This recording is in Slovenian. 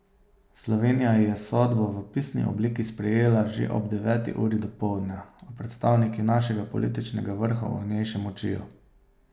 Slovenija je sodbo v pisni obliki sprejela že ob deveti uri dopoldne, a predstavniki našega političnega vrha o njej še molčijo.